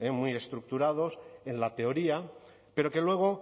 muy estructurados en la teoría pero que luego